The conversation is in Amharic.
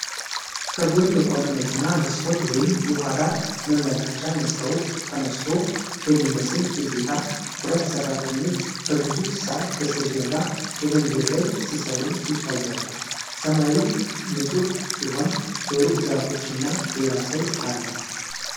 ከጎን የቆመ መኪና መስኮት ወይም የኋላ መመልከቻ መስተዋት ተነስቶ በሚመስል እይታ፣ ሁለት ሠራተኞች ከግዙፍ ሳር በስተጀርባ መንገድ ላይ ሲሰሩ ይታያሉ። ሰማዩ ንፁህ ሲሆን በሩቁ ዛፎች እና ሌላ ሰው አለ።